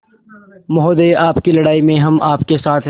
महोदय आपकी लड़ाई में हम आपके साथ हैं